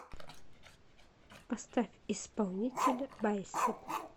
поставь исполнителя байсеп